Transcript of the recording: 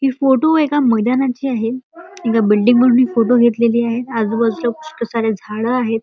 हि फोटू एका मैदानाची आहे. एका बिल्डींग वरून हि फोटो घेतलेली आहे. आजू बाजूला पुष्कळ सारे झाडं आहेत.